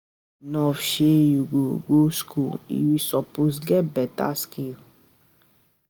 E no dey enough sey you go school o, e suppose get beta skills.